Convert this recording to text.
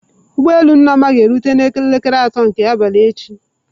Ụgbọ elu Nneoma ga-erute n'elekere atọ nke abalị echi